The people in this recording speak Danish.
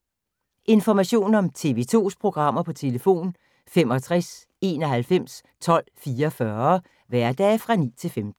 Information om TV 2's programmer: 65 91 12 44, hverdage 9-15.